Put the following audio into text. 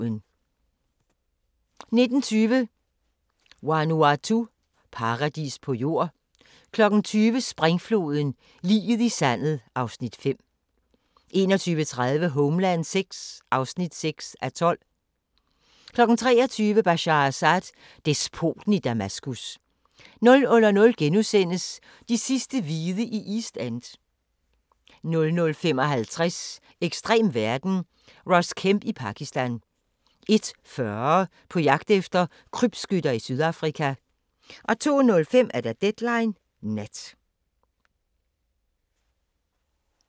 19:20: Vanuatu – paradis på jord 20:00: Springfloden – liget i sandet (Afs. 5) 21:30: Homeland VI (6:12) 23:00: Bashar Assad: Despoten i Damaskus 00:00: De sidste hvide i East End * 00:55: Ekstrem verden – Ross Kemp i Pakistan 01:40: På jagt efter krybskytter i Sydafrika 02:05: Deadline Nat